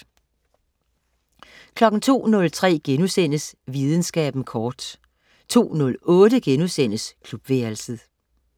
02.03 Videnskaben kort* 02.08 Klubværelset*